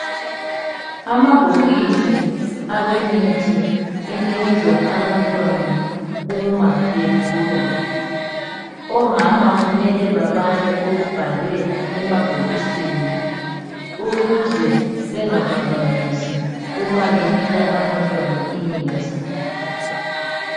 Amabhokisi aweemithi enikezwa abantwana uma begula. omama kumele babale okubhalwe emabhokisini ,ukuze bengaphambanisi uma benika abantwana imithi.